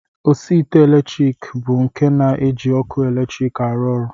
Osiite latrik bụ nke na-eji ọkụ eletrik arụ ọrụ